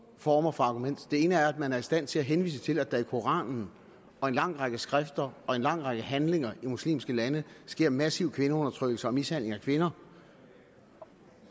former for argument det ene er at man er i stand til at henvise til at der i koranen og en lang række skrifter og en lang række handlinger i muslimske lande sker en massiv kvindeundertrykkelse og mishandling af kvinder